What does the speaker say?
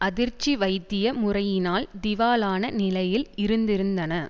அதிர்ச்சி வைத்திய முறையினால் திவாலான நிலையில் இருந்திருந்தன